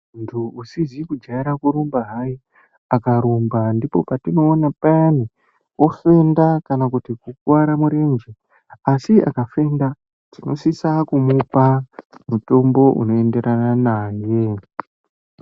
Muntu usizi kujaira kurumba hayi akarumba ndipo patinoona payani ofenda kana kuti kukuvara murenje. Asi akafenda, tinosisa kumupa mutombo unoenderana naye.